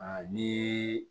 ni